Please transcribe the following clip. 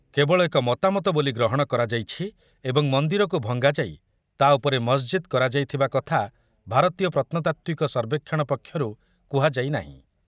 କେବଳ ମତାମତ ବୋଲି ଗ୍ରହଣ କରାଯାଇଛି ଏ ମନ୍ଦିରକୁ ଭଙ୍ଗାଯାଇ ତା ଉପରେ ମସ୍ଜିଦ୍ କରାଯାଇଥିବା କଥା ଭାରତୀୟ ପ୍ରତ୍ନତାତ୍ତ୍ୱିକ ସର୍ବେକ୍ଷଣ ପକ୍ଷରୁ କୁହାଯାଇ ନାହିଁ ।